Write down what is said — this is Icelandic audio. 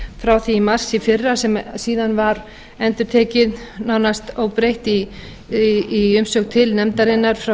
frá því í mars í fyrra sem síðan var endurtekið nánast óbreytt í umsögn til nefndarinnar frá